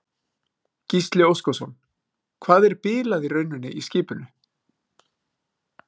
Gísli Óskarsson: Hvað er bilað í rauninni í skipinu?